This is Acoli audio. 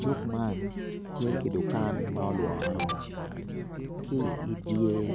Cuk man tye ki dukan ma olworo ci idyer